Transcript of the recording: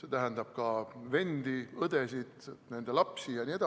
see tähendab ka vendi, õdesid, nende lapsi jne.